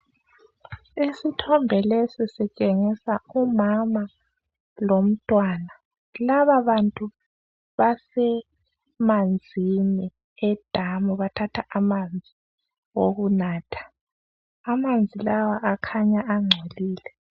Isithombe lesi sitshengisa umama lomtwana laba bantu basemanzini edamu bathatha amanzi okunatha amanzi lawa akhanya angcolile